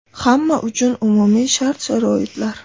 Hamma uchun umumiy shart-sharoitlar.